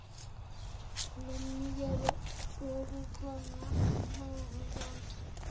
lomnikelo wobukhona boluntu